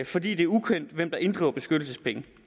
fordi det er ukendt hvem der inddriver beskyttelsespenge